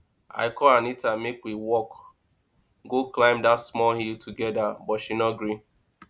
i call anita make we walk go climb dat small hill together but she no gree